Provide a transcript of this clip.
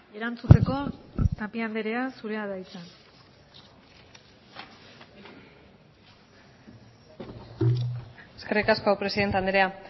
erantzuteko tapia andrea zurea da hitza eskerrik asko presidente andrea